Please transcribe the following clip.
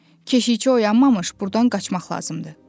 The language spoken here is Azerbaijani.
Keşikçi oyanmamış burdan qaçmaq lazımdır.